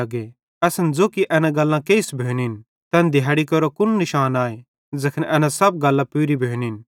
असन ज़ो कि एना गल्लां केइस भोनिन तैन दिहाड़ी केरो कुन निशान आए ज़ैखन एना सब गल्लां पूरी भोनिन